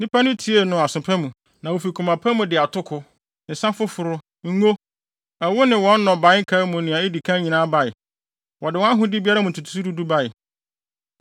Nnipa no tiee no aso pa mu, na wofi koma pa mu de atoko, nsa foforo, ngo, ɛwo ne wɔn nnɔbae nkae mu nea edi kan nyinaa bae. Wɔde wɔn ahode biara mu ntotoso du du bae.